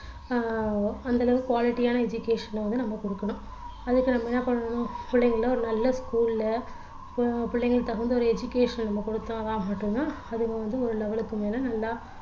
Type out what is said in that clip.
ஆஹ் அந்த அளவுக்கு quality யான education அ வந்து நம்ம கொடுக்கணும் அதுக்கு நம்ம என்ன பண்ணணும் பிள்ளைங்கள ஒரு நல்ல school ல பிள்ளைங்க தகுந்த ஒரு education அ நம்ம கொடுத்தா மட்டும் தான் மட்டும் தான் அதுங்க வந்து ஒரு level க்கு மேல நல்லா